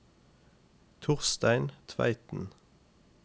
Torstein Tveiten